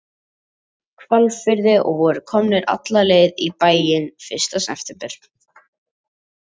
Hvalfirði og voru komnir alla leið í bæinn fyrsta september.